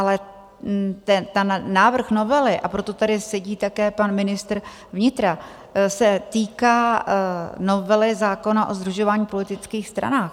Ale ten návrh novely, a proto tady sedí také pan ministr vnitra, se týká novely zákona o sdružování v politických stranách.